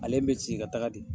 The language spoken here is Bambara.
Ale me ka taga de.